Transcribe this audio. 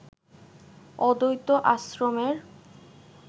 অদ্বৈত আশ্রমের